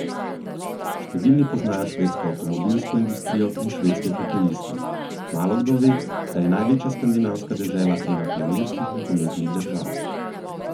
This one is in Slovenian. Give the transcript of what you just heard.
Številni poznajo švedsko avtomobilsko industrijo in švedske hokejiste, malokdo ve, da je največja skandinavska dežela ena pionirskih nogometnih držav.